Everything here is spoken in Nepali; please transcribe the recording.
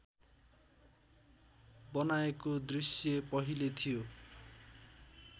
बनाएको दृश्य पहिले थियो